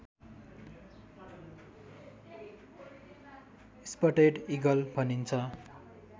spotted eagle भनिन्छ